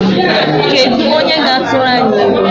Kedu onye ga-atụrụ anyị ilu?